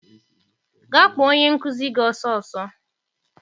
Gaa kpọọ onye nkụzi gị ọsọ ọsọ!